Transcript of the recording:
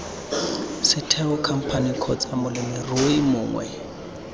setheo khamphane kgotsa molemirui mongwe